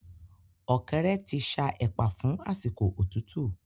Ọ̀kẹ́rẹ́ ti ṣa ẹ̀pà fún àsìkò òtútú